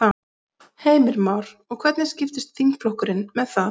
Heimir Már: Og hvernig skiptist þingflokkurinn með það?